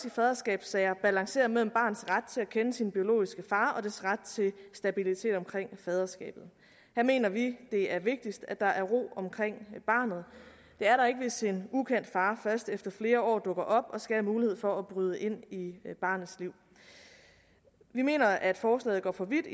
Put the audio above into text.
i faderskabssager balanceres mellem barnets ret til at kende sin biologisk far og dets ret til stabilitet omkring faderskabet her mener vi det er vigtigt at der er ro omkring barnet det er der ikke hvis en ukendt far først efter flere år dukker op og skal have mulighed for at bryde ind i barnets liv vi mener at forslaget går for vidt